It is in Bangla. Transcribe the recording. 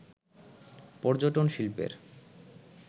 পর্যটন শিল্পের